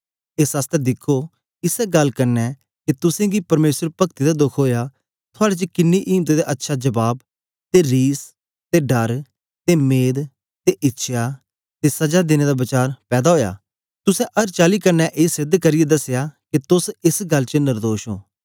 एस आसतै दिखो इसै गल्ल क्न्ने के तुसेंगी परमेसर पगती दा दोख ओया थुआड़े च किन्नी इम्त ते अच्छा जबाब ते रिस ते डर ते मेद ते इच्छया ते सजा देने दा वचार पैदा ओया तुसें अर चाली क्न्ने ए सेध करियै दसया के तोस एस गल्ल च नर्दोश ओं